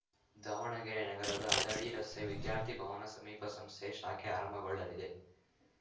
ದಾವಣಗೆರೆ ನಗರದ ಹದಡಿ ರಸ್ತೆ ವಿದ್ಯಾರ್ಥಿ ಭವನ ಸಮೀಪ ಸಂಸ್ಥೆಯ ಶಾಖೆ ಆರಂಭಗೊಳ್ಳಲಿದೆ